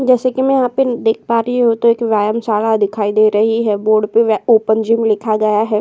जैसे की मैं यहाँ पे देख पा रही हूँ तो एक व्यायामशाला दिखाई दे रही है। बोर्ड पे ओपन जिम लिखा गया है।